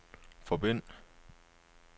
forbind